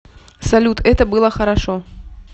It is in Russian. салют это было хорошо